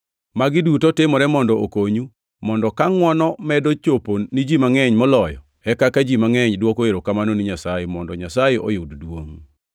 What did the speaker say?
Magi duto timore mondo okonyu, mondo kaka ngʼwono medo chopo ni ji mangʼeny moloyo, e kaka ji mangʼeny dwoko erokamano ni Nyasaye, mondo Nyasaye oyud duongʼ.